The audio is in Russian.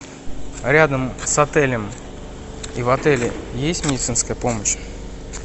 рядом с отелем и в отеле есть медицинская помощь